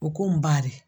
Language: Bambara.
O ko n ba de